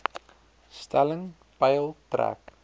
stelling peil trek